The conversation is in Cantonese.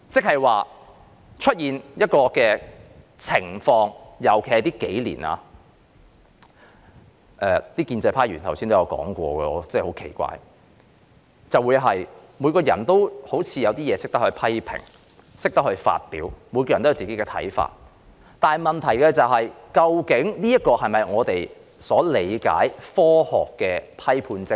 近年出現一種情況，我感到很奇怪——建制派議員剛才也有提述——似乎人人都懂得批評及表達自己的看法，但這究竟是否我們所理解科學的批判精神？